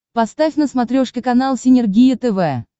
поставь на смотрешке канал синергия тв